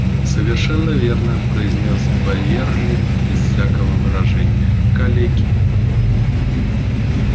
совершенно верно произнеё байерли без всякого выражения калеки